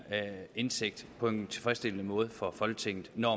indsigt på en tilfredsstillende måde for folketinget når